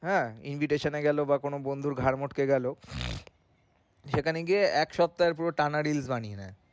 হ্যাঁ invitation এ গেলো বা কোনো বন্ধুর ঘাড় মটকে গেলো সেখানে গিয়ে এক সপ্তাহের পুরো টানা reels বানিয়ে নেয়।